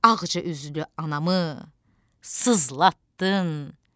Ağca üzlü anamı sızlatdın.